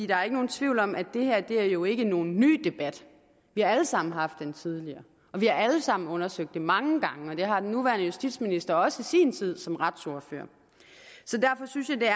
der er ikke nogen tvivl om at det her jo ikke er nogen ny debat vi har alle sammen haft den tidligere og vi har alle sammen undersøgt det mange gange og det har den nuværende justitsminister også i sin tid som retsordfører så derfor synes jeg det